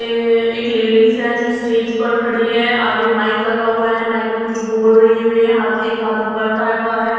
ए- एक लेडीस है जो स्टेज पर खड़ी है आगे माइक लगा हुआ है माइक में कुछ बोल रहीं हैं वे हाथ एक हाथ ऊपर उठा हुआ है।